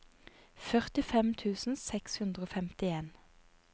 førtifem tusen seks hundre og femtien